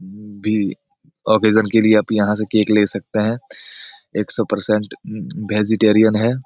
भी ऑकेसन के लिए आप यहां से केक ले सकते हैं। एक सौ परसेंट वेजिटेरीअन है।